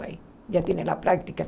Já tem a prática.